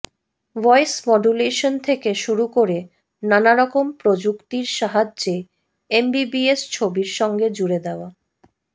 voice modulation থেকে শুরু করে নানারকম প্রযুক্তির সাহায্যে এমবিবিএস ছবির সঙ্গে জুড়ে দেওয়া